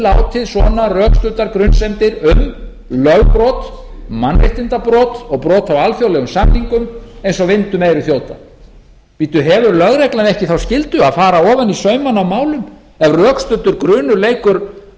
látið svona rökstuddar grunsemdir um lögbrot mannréttindabrot og brot á alþjóðlegum samningum eins og vind um eyru þjóta hefur lögreglan ekki þá skyldu að fara ofan í saumana á málum ef rökstuddur grunur leikur